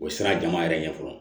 O ye siran jama yɛrɛ ɲɛ fɔlɔ